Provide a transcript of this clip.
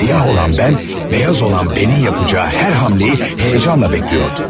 Siyah olan mən, beyaz olan mənim yapacağı hər hamleyi həyəcanla gözləyirdim.